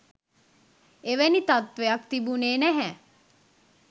එවැනි තත්ත්වයක් තිබුණෙ නැහැ